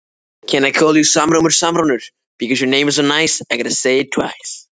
En þú verður að tala við lögregluna.